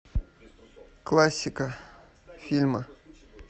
классика фильмы